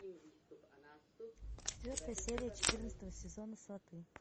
четвертая серия четырнадцатого сезона сваты